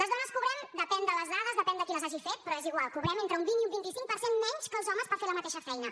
les dones cobrem depèn de les dades depèn de qui les hagi fet però és igual entre un vint i un vint cinc per cent menys que els homes per fer la mateixa feina